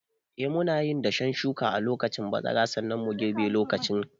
Eh, munayin dashen shuka a lokacin bazara, sannan mu girbe lokacin kaka.